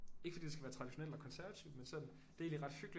Ikke fordi du skal være traditionel og konservativ men sådan det er egentlig ret hyggeligt